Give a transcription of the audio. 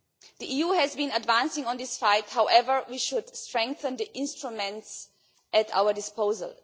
The EU has been advancing on this file. However, we should strengthen the instruments at our disposal.